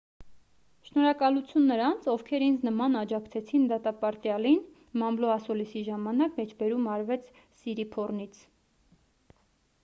շնորհակալություն նրանց ովքեր ինձ նման աջակցեցին դատապարտյալին մամլո ասուլիսի ժամանակ մեջբերում արվեց սիրիփոռնից